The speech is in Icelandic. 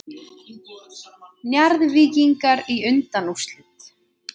Njarðvíkingar í undanúrslit